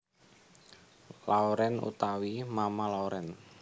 Lauren utawi Mama Lauren